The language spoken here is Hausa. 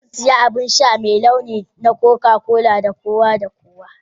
Zan sayi abin sha mai laushi na coca-cola ga kowa da kowa.